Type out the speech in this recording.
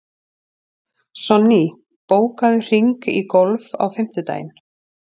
Sonný, bókaðu hring í golf á fimmtudaginn.